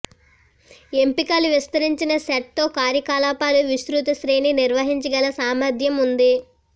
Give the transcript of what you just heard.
ఎంపికలు విస్తరించిన సెట్ తో కార్యకలాపాలు విస్తృత శ్రేణి నిర్వహించగల సామర్థ్యం ఉంది